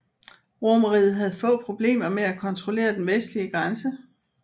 Romerriget havde få problemer med at kontrollere den vestlige grænse